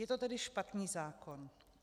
Je to tedy špatný zákon.